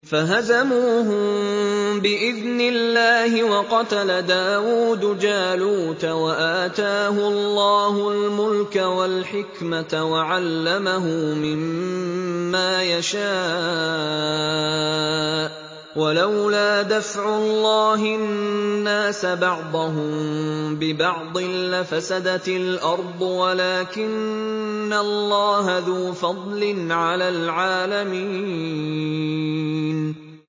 فَهَزَمُوهُم بِإِذْنِ اللَّهِ وَقَتَلَ دَاوُودُ جَالُوتَ وَآتَاهُ اللَّهُ الْمُلْكَ وَالْحِكْمَةَ وَعَلَّمَهُ مِمَّا يَشَاءُ ۗ وَلَوْلَا دَفْعُ اللَّهِ النَّاسَ بَعْضَهُم بِبَعْضٍ لَّفَسَدَتِ الْأَرْضُ وَلَٰكِنَّ اللَّهَ ذُو فَضْلٍ عَلَى الْعَالَمِينَ